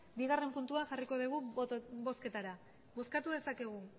bigarrena puntua jarriko dugu bozketara bozkatu dezakegu